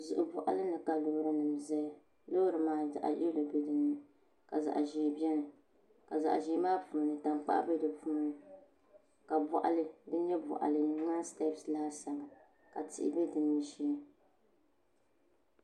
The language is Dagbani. Zuɣu boɣali ni ka loori nim ʒɛya loori maa zaɣ yɛlo biɛni ka zaɣ ʒiɛ biɛni ka zaɣ ʒiɛ maa puuni tankpaɣu bɛ ni n nyɛ boɣali di ŋmanila stɛbs laasabu ka tihi bɛ dinni shee